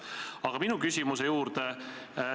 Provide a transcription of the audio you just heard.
Aga nüüd minu küsimuse juurde.